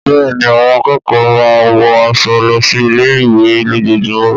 Bẹ́ẹ̀ni, àwọn akẹ́kọ̀ọ́ máa ń wọ aṣọ lọ sí ilé-ìwé lójoojúmọ́.